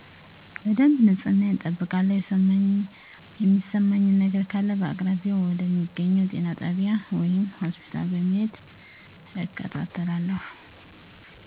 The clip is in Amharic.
በደብ ንጽህናየን እጠብቃለው የሚሰማኝ ነገረ ካለ በአቅራቢያው ወደ ሚገኘው ጤና ጣቢይ ወይም ሆስፒታል በመሄድ እከታተላለው።